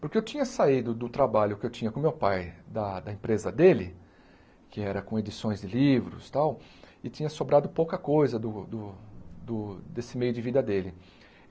Porque eu tinha saído do trabalho que eu tinha com o meu pai, da da empresa dele, que era com edições de livros e tal, e tinha sobrado pouca coisa do do do desse meio de vida dele.